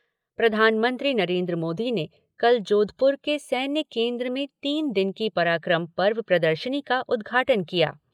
प्रधानमंत्री नरेन्द्र मोदी ने कल जोधपुर के सैन्य केन्द्र में तीन दिन की पराक्रम पर्व प्रदर्शनी का उद्घाटन किया।